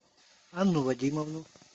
анну вадимовну